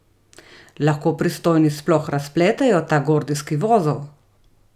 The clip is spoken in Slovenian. Lahko pristojni sploh razpletejo ta gordijski vozel?